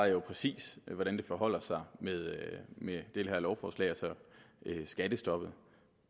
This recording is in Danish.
jo præcis hvordan det forholder sig med med det her lovforslag og så skattestoppet